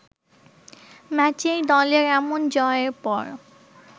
ম্যাচেই দলের এমন জয়ের পর